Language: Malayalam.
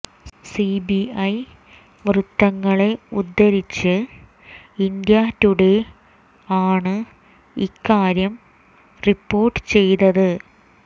സിബിഐ വൃത്തങ്ങളെ ഉദ്ധരിച്ച് ഇന്ത്യാ ടുഡെ ആണ് ഇക്കാര്യം റിപ്പോർട്ട് ചെയ്തത്